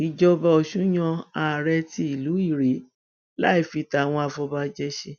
ìjọba ọsùn yan àrèé ti ìlú irèé láì fi tàwọn afọbajẹ ṣe